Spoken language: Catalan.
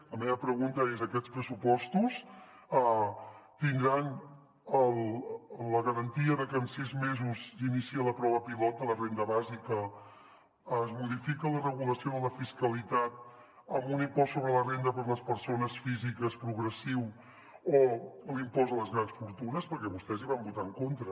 la meva pregunta és aquests pressupostos tindran la garantia de que en sis mesos s’inicia la prova pilot de la renda bàsica es modifica la regulació de la fiscalitat amb un impost sobre la renda de les persones físiques progressiu o l’impost a les grans fortunes perquè vostès hi van votar en contra